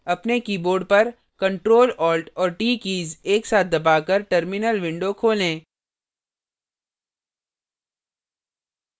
अपने keyboard पर ctrl alt और t कीज एक साथ दबाकर terminal window खोलें